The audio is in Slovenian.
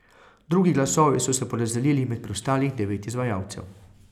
Drugi glasovi so se porazdelili med preostalih devet izvajalcev.